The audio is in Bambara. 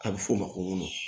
A bɛ f'o ma ko